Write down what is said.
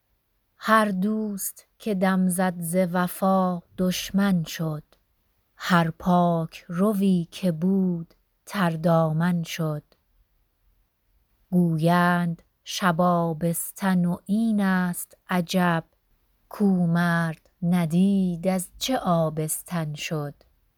هر دوست که دم زد ز وفا دشمن شد هر پاک روی که بود تردامن شد گویند شب آبستن و این است عجب کـ او مرد ندید از چه آبستن شد